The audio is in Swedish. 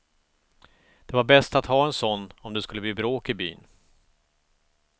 Det var bäst att ha en sådan, om det skulle bli bråk i byn.